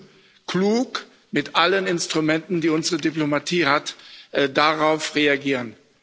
Wir müssen klug mit allen Instrumenten, die unsere Diplomatie hat, darauf reagieren.